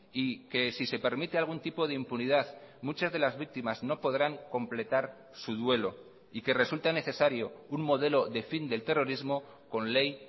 y que si se permite algún tipo de impunidad muchas de las víctimas no podrán completar su duelo y que resulta necesario un modelo de fin del terrorismo con ley